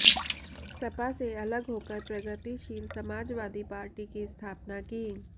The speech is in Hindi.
सपा से अलग होकर प्रगतिशील समाजवादी पार्टी की स्थापना की